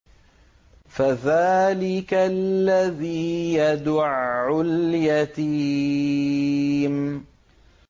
فَذَٰلِكَ الَّذِي يَدُعُّ الْيَتِيمَ